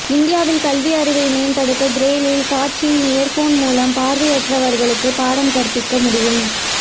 இந்தியாவில் கல்வியறிவை மேம்படுத்த பிரெயில் காட்சியின் இயர் போன் மூலம் பார்வை அற்றவர்களுக்கு பாடம் கற்பிக்க முடியும்